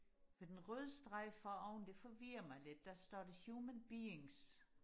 for den røde streg for oven det forvirrer mig lidt der står der human beings